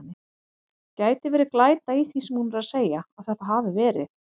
Gæti verið glæta í því sem hún er að segja. að þetta hafi verið.